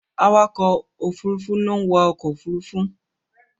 Awakọ̀ Òfurufú ló ń wa ọkọ òfurufú.